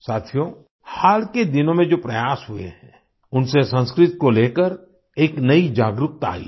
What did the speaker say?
साथियो हाल के दिनों में जो प्रयास हुए हैं उनसे संस्कृत को लेकर एक नई जागरूकता आई है